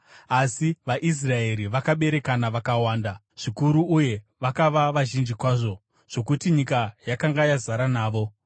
asi vaIsraeri vakaberekana vakawanda zvikuru uye vakava vazhinji kwazvo, zvokuti nyika yakanga yazara navo.